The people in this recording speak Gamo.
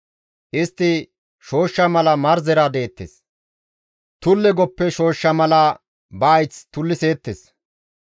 Istti shooshsha mala marzera deettes; tulle goppe shooshsha mala ba hayth tulliseettes.